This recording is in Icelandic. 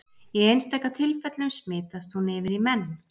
Í einstaka tilfellum smitast hún yfir í menn.